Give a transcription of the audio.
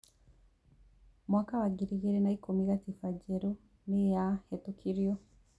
Mwaka wa ngiri igĩrĩ na ikũmi, gatiba njerũ nĩ yahetũkirio.